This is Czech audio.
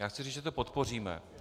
Já chci říct, že to podpoříme.